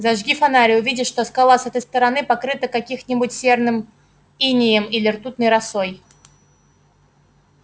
зажги фонарь и увидишь что скала с этой стороны покрыта каких-нибудь серным инеем или ртутной росой